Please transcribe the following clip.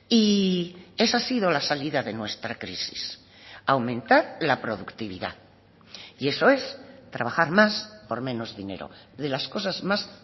y esa ha sido la salida de nuestra crisis aumentar la productividad y eso es trabajar más por menos dinero de las cosas más